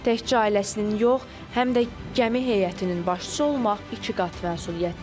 Tək dənizçi ailəsinin yox, həm də gəmi heyətinin başçısı olmaq ikiqat məsuliyyətdir.